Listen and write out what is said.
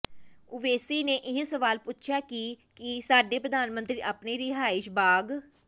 ਓਵੈਸੀ ਨੇ ਇਹ ਸਵਾਲ ਪੁੱਛਿਆ ਕਿ ਕੀ ਸਾਡੇ ਪ੍ਰਧਾਨ ਮੰਤਰੀ ਆਪਣੇ ਰਿਹਾਇਸ਼ੀ ਬਾਗ